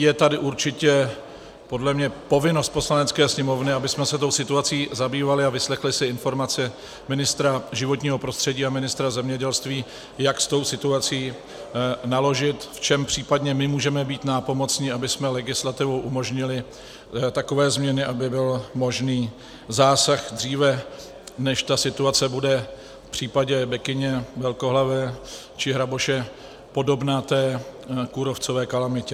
Je tady určitě podle mě povinnost Poslanecké sněmovny, abychom se tou situací zabývali a vyslechli si informace ministra životního prostředí a ministra zemědělství, jak s tou situací naložit, v čem případně my můžeme být nápomocni, abychom legislativou umožnili takové změny, aby byl možný zásah dříve, než ta situace bude v případě bekyně velkohlavé či hraboše podobná té kůrovcové kalamitě.